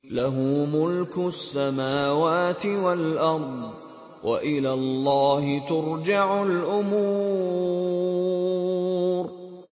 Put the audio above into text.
لَّهُ مُلْكُ السَّمَاوَاتِ وَالْأَرْضِ ۚ وَإِلَى اللَّهِ تُرْجَعُ الْأُمُورُ